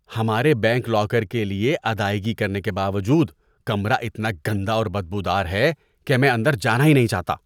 ہمارے bank locker کے لیے ادائیگی کرنے کے باوجود کمرہ اتنا گندا اور بدبو دار ہے کہ میں اندر جانا ہی نہیں چاہتا۔